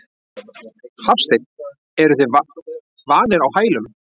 Hafsteinn: Eruð þið vanir á hælum?